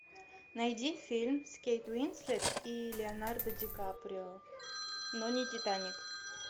найди фильм с кейт уинслет и леонардо ди каприо но не титаник